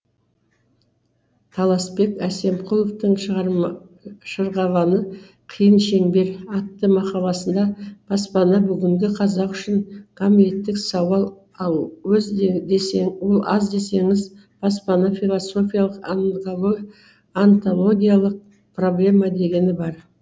таласбек әсемқұловтың шырғалаңы қиын шеңбер атты мақаласында баспана бүгінгі қазақ үшін гамлеттік сауал аз десеңіз баспана философиялық онтологиялық проблема дегені бар